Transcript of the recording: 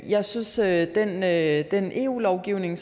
jeg synes at den eu lovgivning